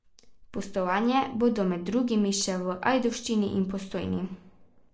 Pustovanja bodo med drugim še v Ajdovščini in Postojni.